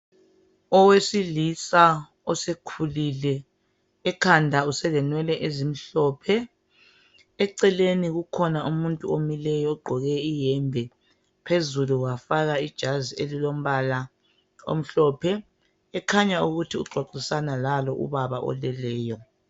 Owesilisa osekhulile ekhanda uselenwele ezimhlophe eceleni kukhona umuntu omileyo ogqoke iyembe phezulu wafakwa ijazi elilombala omhlophe ekhanya ukuthi uxoxisana Lalo ubaba oleleyo.